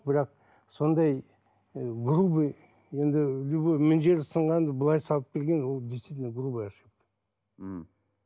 бірақ сондай ы грубый енді любой мына жері сынғанды былай салып берген ол действительно грубая ошибка м